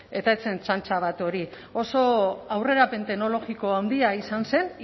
eta ez zen txantxa bat hori oso aurrerapen teknologiko handia izan zen